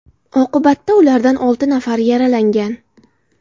Oqibatda ulardan olti nafarini yaralagan.